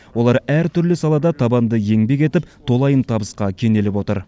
олар әр түрлі салада табанды еңбек етіп толайым табысқа кенеліп отыр